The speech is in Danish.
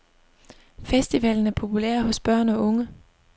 Festivalen er populær hos børn og unge.